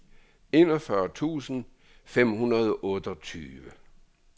enogfyrre tusind fem hundrede og otteogtyve